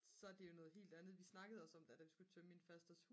så er det jo noget helt andet vi snakkede også om der da vi skulle tømme min fasters